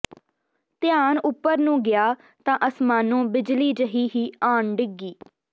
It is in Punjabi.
ਧਿਆਨ ਉੱਪਰ ਨੂੰ ਗਿਆ ਤਾਂ ਅਸਮਾਨੋਂ ਬਿਜਲੀ ਜਿਹੀ ਹੀ ਆਣ ਡਿੱਗੀ